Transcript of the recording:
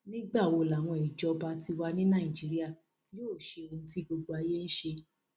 nígbà wo làwọn ìjọba tiwa ní nàìjíríà yóò ṣe ohun tí gbogbo ayé ń ṣe